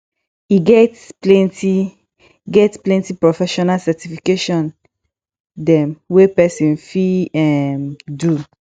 e get plenty get plenty profesional certification dem wey person fit um do